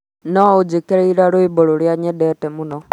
no ujikirire rwimbo rũria nyendete mũno